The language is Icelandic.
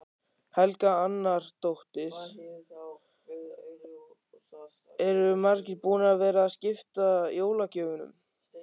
Helga Arnardóttir: Eru margir búnir að vera að skipta jólagjöfunum?